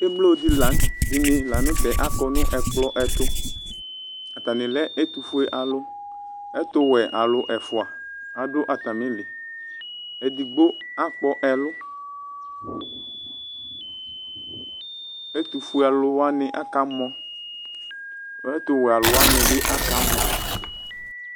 Emlo dini lanʋ tɛ akɔ nʋ ɛkplɔ ɛtʋ atani lɛ ɛtʋfue alʋ ɛtʋwɛ alʋ ɛfʋa adʋ atamili edigbo akpɔ ɛlʋ ɛtʋfue alʋ wani akamɔ ɛtʋwɛ alʋ wani bi akamɔ